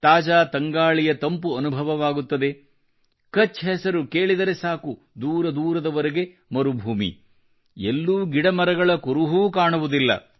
ತಾಜಾ ತಂಗಾಳಿಯ ತಂಪು ಅನುಭವವಾಗುತ್ತದೆ ಕಛ್ ಹೆಸರು ಕೇಳಿದರೆ ಸಾಕು ದೂರ ದೂರದವರೆಗೆ ಮರುಭೂಮಿ ಎಲ್ಲೂ ಗಿಡಮರಗಳ ಕುರುಹೂ ಕಾಣುವುದಿಲ್ಲ